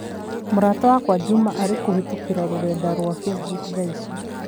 Mũrata wakwa Juma arĩkũhītũkīra rũrenda rũa facebook thaa ici.